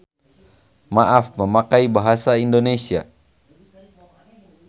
Maaf memakai bahasa Indonesia.